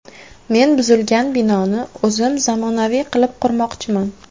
Men buzilgan binoni o‘zim zamonaviy qilib qurmoqchiman.